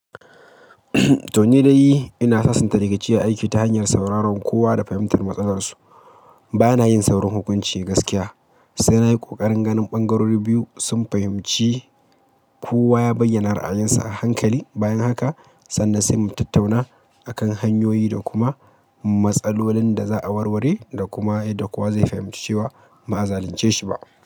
To ni dai ina sasanta rikici a aiki ta hanyar sauraron kowa da fahimtar matsalar su ba na yin saurin hukunci gaskiya, sai na yi ƙoƙarin ganin ɓangarori biyu, sun fahimci, kowa ya bayyana ra'ayinsa a hankali. Bayan haka sannan sai mu tattauna akan hanyoyi da kuma matsalolin da za'a warware, da kuma yadda kowa zai fahimci cewa ba'a zalunce shi ba.